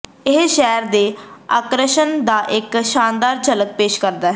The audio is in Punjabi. ਇਹ ਸ਼ਹਿਰ ਦੇ ਆਕਰਸ਼ਣ ਦਾ ਇੱਕ ਸ਼ਾਨਦਾਰ ਝਲਕ ਪੇਸ਼ ਕਰਦਾ ਹੈ